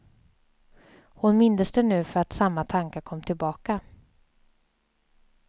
Hon mindes det nu för att samma tankar kom tillbaka.